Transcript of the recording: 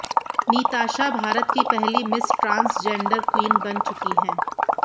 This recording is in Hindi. नीताषा भारत की पहली मिस ट्रांसजेंडर क्वीन बन चुकी हैं